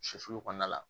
Sofili kɔnɔna la